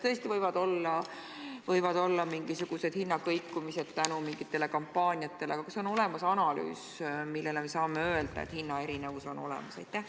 Tõesti võivad olla mingisugused hinnakõikumised tänu mingitele kampaaniatele, aga kas on olemas analüüs, mille põhjal saame öelda, et hinnaerinevus on olemas?